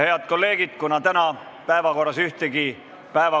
Head kolleegid, kuna täna ühtegi päevakorrapunkti arutada ei ole, siis on meie istung lõppenud.